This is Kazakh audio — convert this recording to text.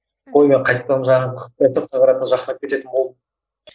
қой мен қайтадан жаңағы кететін болдым